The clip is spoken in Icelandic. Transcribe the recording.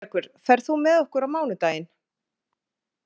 Sigurbergur, ferð þú með okkur á mánudaginn?